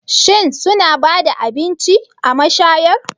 Shin suna ba da abinci a mashayar?